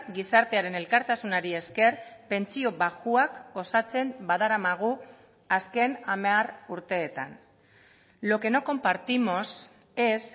gizartearen elkartasunari esker pentsio baxuak osatzen badaramagu azken hamar urteetan lo que no compartimos es